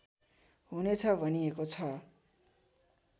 हुनेछ भनिएको छ